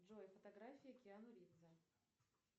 джой фотографии киану ривза